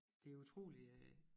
Det utrolige er